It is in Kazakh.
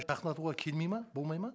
жақындатуға келмейді ме болмайды ма